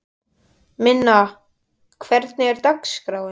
Minna, hvernig er dagskráin?